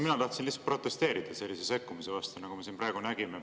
Mina tahtsin lihtsalt protesteerida sellise sekkumise vastu, nagu me siin praegu nägime.